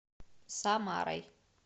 самарой